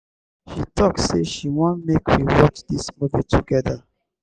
she tok sey she wan make we watch dis movie togeda.